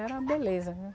Era uma beleza, viu?